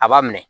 A b'a minɛ